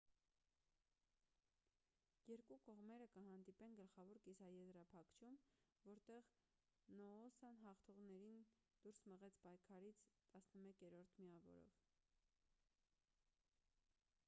երկու կողմերը կհանդիպեն գլխավոր կիսաեզրափակչում որտեղ նոոսան հաղթողներին դուրս մղեց պայքարից 11 միավորով